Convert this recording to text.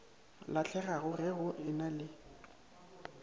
lahlegago ge go ena le